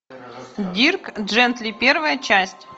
дирк джентли первая часть